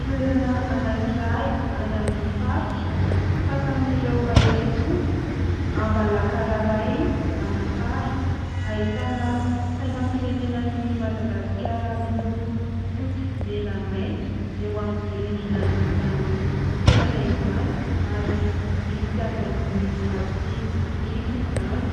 Toerana anankiray any amin'ny faritra, fasan'ireo mahery fo Ambalakararay Manakara. Ahitana sainam-pirenenan'i Madagasikara miloko fotsy, mena, maitso eo amin'ny rindrina an'izany toerana izany ary vita avy amin'ny vato sy biriky izany.